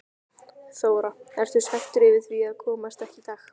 Þóra: Ertu svekktur yfir því að komast ekki í dag?